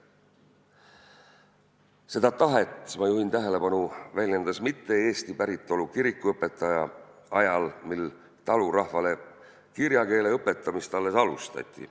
Seda tahet – ma juhin tähelepanu – väljendas mitte-eesti päritolu kirikuõpetaja ajal, kui talurahvale kirjakeele õpetamist alles alustati.